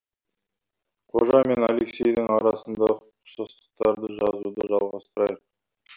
қожа мен алексейдің арасындағы ұқсастықтарды жазуды жалғастырайық